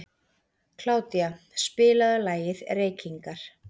Kládía, spilaðu lagið „Reykingar“.